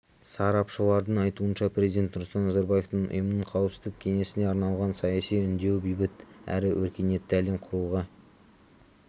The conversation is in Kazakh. сарапшылардың айтуынша президент нұрсұлтан назарбаевтың ұйымның қауіпсіздік кеңесіне арналған саяси үндеуі бейбіт әрі өркениетті әлем құруға